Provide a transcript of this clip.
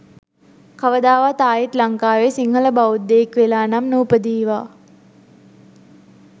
කවදාවත් ආයිත් ලංකාවේ සිංහල බෞද්ධයෙක් වෙලා නම් නූපදීවා